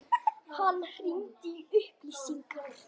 Hann hringdi í upplýsingar.